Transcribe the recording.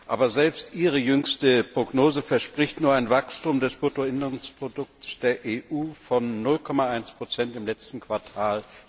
Aber selbst Ihre jüngste Prognose verspricht nur ein Wachstum des Bruttoinlandsprodukts der EU von 0,1 im letzten Quartal